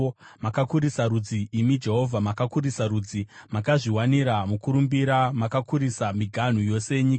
Makakurisa rudzi, imi Jehovha; makakurisa rudzi. Makazviwanira mukurumbira; mukakurisa miganhu yose yenyika.